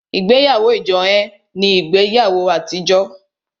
Ìgbéyàwó ijohun ní ìgbéyàwó àtijọ́